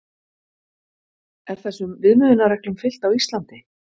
Er þessum viðmiðunarreglum fylgt á Íslandi?